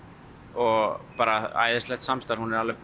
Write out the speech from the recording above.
og bara æðislegt samstarf hún er